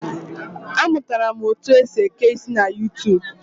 A mụtara m otu esi eke isi na YuuTuub